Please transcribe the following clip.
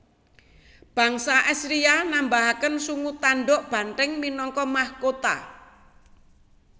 Bangsa Asiria nambahaken sungu tandhuk banthèng minangka mahkota